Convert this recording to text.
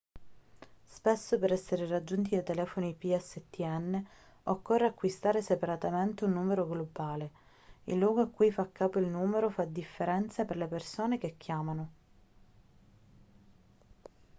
spesso per essere raggiunti dai telefoni pstn occorre acquistare separatamente un numero globale il luogo a cui fa capo il numero fa differenza per le persone che chiamano